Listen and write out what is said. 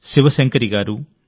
శివశంకర్ గారు ఎ